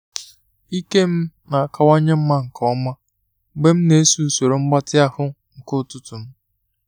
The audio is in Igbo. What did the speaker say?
Ike m na-akawanye mma nke ọma mgbe m na-eso n'usoro mgbatị ahụ nke ụtụtụ m.